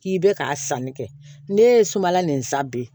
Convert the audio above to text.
K'i bɛ ka sanni kɛ ne ye sumala nin san bi